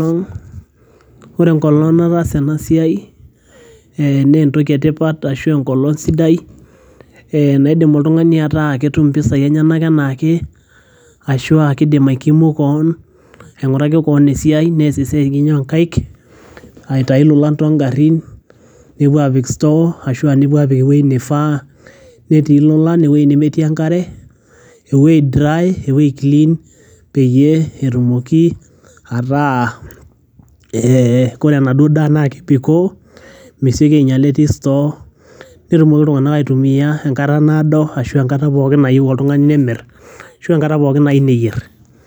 Ore enkolong nataasa enasiai, eh nentoki etipat ashua enkolong sidai, naidim oltung'ani ataa ketum impisai enyanak enaake, ashua kidim ai kimu keon, aing'uraki keon esiai, nees enye onkaik, aitayu lolan togarrin, nepuo apik store ,ashua nepuo apik ewoi nifaa, netii lolan ewei nemetii enkare, ewei dry, ewei clean, peyie etumoki ataa koree enaduo daa na kebikoo, meseki ainyala etii store ,netumoki iltung'anak aitumia enkata naado ashua enkata pookin nayieu oltung'ani nemir, ashua enkata pookin nayieu neyier.